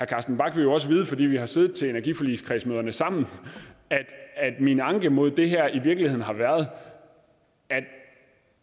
carsten bach vil jo også vide fordi vi har siddet til energiforligskredsmøderne sammen at min anke imod det her i virkeligheden har været at